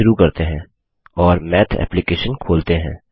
चलिए शुरू करते हैं और माथ एप्लिकैशन खोलते हैं